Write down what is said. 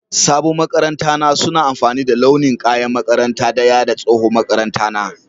sabon maƙaranta na suna amfani da launin kaƴan makaranta daƴa da tsohon maƙaranta na